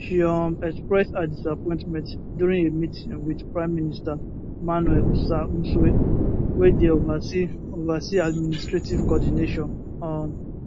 she um express her disappointment during a meeting wit prime minister manuel osa nsue wey dey oversee oversee administrative coordination um